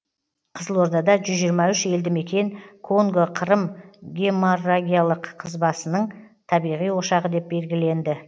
қызылордада жүз жиырма үш елді мекен конго қырым геморрагиялық қызбасының табиғи ошағы деп белгіленді